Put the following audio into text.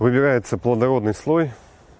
выбирается плодородный слой